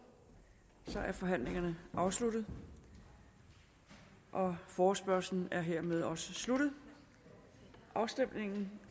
er forhandlingerne afsluttet og forespørgslen er hermed også sluttet afstemning